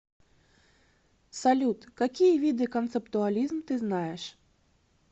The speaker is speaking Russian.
салют какие виды концептуализм ты знаешь